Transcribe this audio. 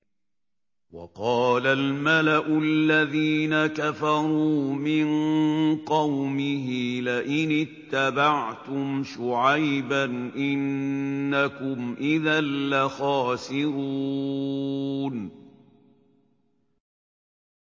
وَقَالَ الْمَلَأُ الَّذِينَ كَفَرُوا مِن قَوْمِهِ لَئِنِ اتَّبَعْتُمْ شُعَيْبًا إِنَّكُمْ إِذًا لَّخَاسِرُونَ